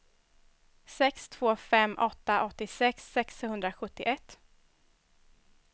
sex två fem åtta åttiosex sexhundrasjuttioett